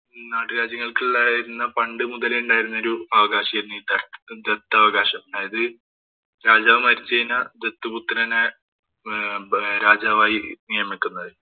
നാട്ടുരാജ്യങ്ങള്‍ക്ക് ഉണ്ടായിരുന്ന പണ്ട് മുതലേ ഉണ്ടായിരുന്ന ഒരു അവകാശമായിരുന്നു ഈ ദത്താവകാശം. അതായത് രാജാവ്‌ മരിച്ചു കഴിഞ്ഞാല്‍ ദത്തുപുത്രനെ രാജാവായി നിയമിക്കുന്നത്.